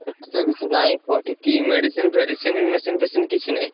ଏଠିତ ବେଶୀ ନାଇଁ କି medicine ଫେଡିଶିନି, medicine ଫେଷିନି କିଛି ନାଇଁ।